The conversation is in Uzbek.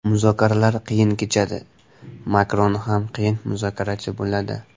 Muzokaralar qiyin kechadi, Makron ham qiyin muzokarachi bo‘ladi.